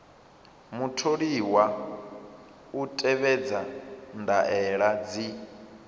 mutholiwa u tevhedza ndaela dzi